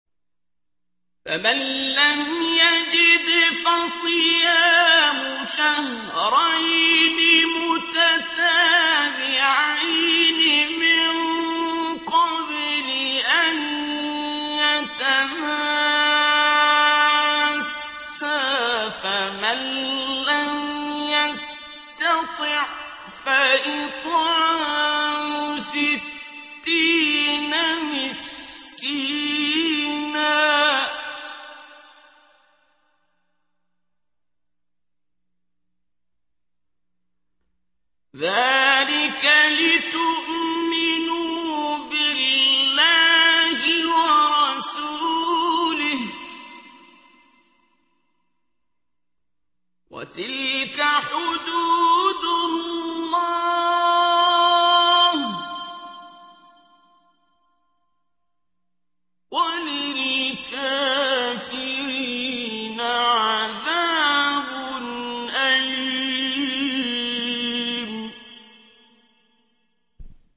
فَمَن لَّمْ يَجِدْ فَصِيَامُ شَهْرَيْنِ مُتَتَابِعَيْنِ مِن قَبْلِ أَن يَتَمَاسَّا ۖ فَمَن لَّمْ يَسْتَطِعْ فَإِطْعَامُ سِتِّينَ مِسْكِينًا ۚ ذَٰلِكَ لِتُؤْمِنُوا بِاللَّهِ وَرَسُولِهِ ۚ وَتِلْكَ حُدُودُ اللَّهِ ۗ وَلِلْكَافِرِينَ عَذَابٌ أَلِيمٌ